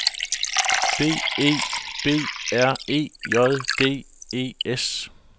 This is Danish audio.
B E B R E J D E S